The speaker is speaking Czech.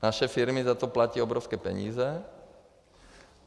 Naše firmy za to platí obrovské peníze.